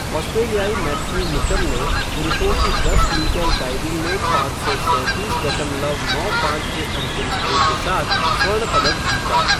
ऑस्ट्रेलियाई Matthew Mitcham ने पुरुषों की दस मीटर डाइविंग में पाँच सौ सैंतीस दशमलव नौ पाँच के अंतिम स्कोर के साथ स्वर्ण पदक जीता।